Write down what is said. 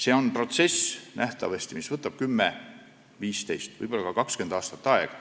See protsess võtab nähtavasti 10, 15, võib-olla ka 20 aastat aega.